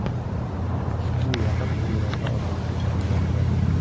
U yaqin kunlarda ochilishi kutilmoqda.